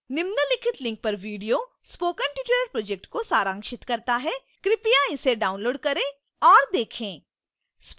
निम्नलिखित link पर video spoken tutorial project को सारांशित करता है कृपया इसे download करें और देखें